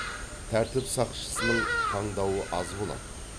тәртіп сақшысының таңдауы аз болады